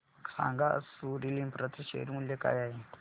सांगा आज Soril Infra share चे मूल्य काय आहे